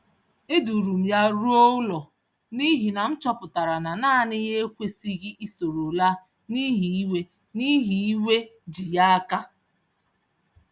E duurum ya ruo ụlọ n'ihi na m chọpụtara na nanị ya ekwesịghi isoro laa n'ihi iwe n'ihi iwe ji ya áká